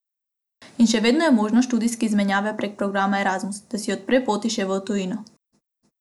In še vedno je možnost študijske izmenjave prek programa Erazmus, da si odpre poti še v tujino.